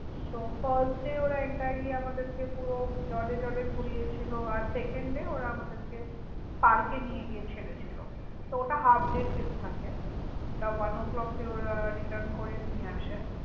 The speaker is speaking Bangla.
তো firstday ওঁরা entirely আমাদের কে পুরো জলে জলে ঘুরিয়েছিল। আর secondday ওঁরা আমাদের কে park এ নিয়ে গিয়ে । তো ওটা half day trip থাকে। ওটা one o clock এ ওঁরা return করে নিয়ে আসে।